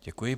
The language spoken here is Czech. Děkuji.